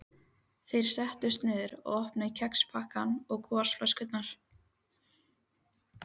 Þeir settust niður og opnuðu kexpakkana og gosflöskurnar.